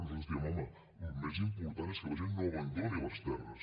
nosaltres diem home el més important és que la gent no abandoni les terres